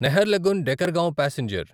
Naharlagun Dekargaon passenger